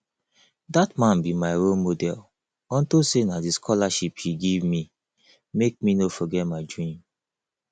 dat man be my role model unto say na the scholarship he give me make me no forget my dream